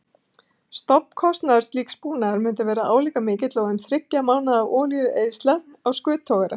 Stofnkostnaður slíks búnaðar mundi verða álíka mikill og um þriggja mánaða olíueyðsla á skuttogara.